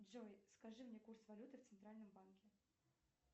джой скажи мне курс валюты в центральном банке